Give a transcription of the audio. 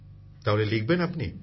তাহলে লিখবেন আপনি